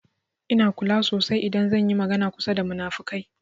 Ina kula sasai idan zan yi magana kusa da munafukai.